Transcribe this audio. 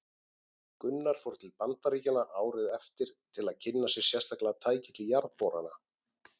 Gunnar fór til Bandaríkjanna árið eftir til að kynna sér sérstaklega tæki til jarðborana.